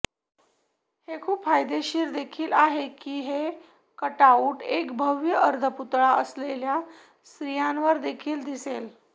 हे खूप फायदेशीर देखील आहे की हे कटआउट एक भव्य अर्धपुतळा असलेल्या स्त्रियांवर देखील दिसेल